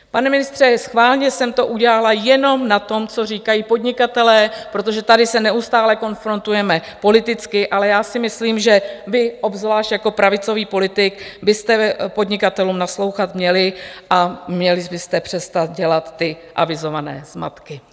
Pane ministře, schválně jsem to udělala jenom na tom, co říkají podnikatelé, protože tady se neustále konfrontujeme politicky, ale já si myslím, že vy obzvlášť jako pravicový politik byste podnikatelům naslouchat měl a měli byste přestat dělat ty avizované zmatky.